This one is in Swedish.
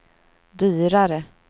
dyrare